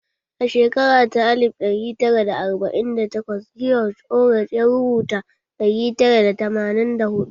A shekara ta alif ɗari tara da arba'in da takwas George Orwell ya rubuta ɗari tara da tamanin da huɗu